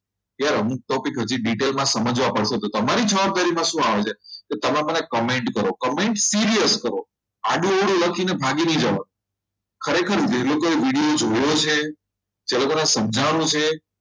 કે યાર અમુક topic હજી detail સમજવા પડશે તો તમારી જવાબદારી માં શું આવે છે કે તમે મને comment કરો comment serious કરો આડુ અવળું લખીને ભાગી નહિ જવાનું ખરેખર જે લોકોએ video જોયો છે જે લોકોને સમજાવવાનું છે